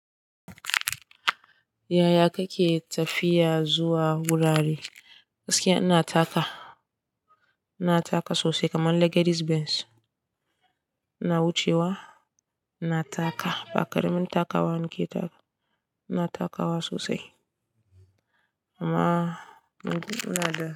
Yaya kake tafiya zuwa wurare? Gaskiya ina taka, ina taka sosai kamar Legedis Benz. Ina wucewa, ina taka ba ƙaramin takawa nake taka. Ina takawa sosai amma ina da.